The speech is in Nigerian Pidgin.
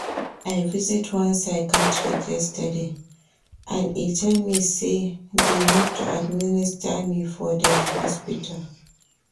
I visit one psychiatrist yesterday and e tell me say they need to administer me for their hospital